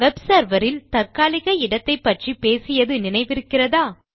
web server இல் தற்காலிக இடத்தைப்பற்றி பேசியது நினைவிருக்கிறதா